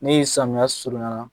Ni samiya surunyara